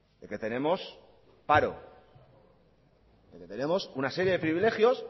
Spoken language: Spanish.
de que tenemos paro de que tenemos una serie de privilegios